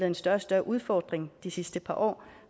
en større og større udfordring de sidste par år